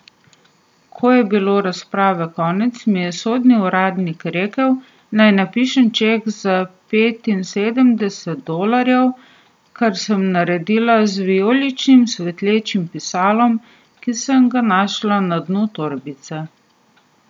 Ko je bilo razprave konec, mi je sodni uradnik rekel, naj napišem ček za petinsedemdeset dolarjev, kar sem naredila z vijoličnim svetlečim pisalom, ki sem ga našla na dnu torbice.